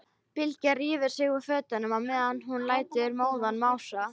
Bylgja rífur sig úr fötunum meðan hún lætur móðan mása.